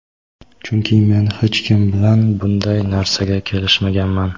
Chunki men hech kim bilan bunday narsaga kelishmaganman.